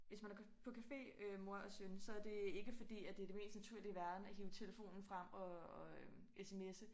Hvis man er på café øh mor og søn så det ikke fordi at det det mest naturlige i verrden at hive telefonen frem og og øh sms'e